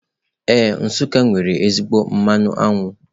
Ee, Nsuká nwere ezigbo mmanụ aṅụ.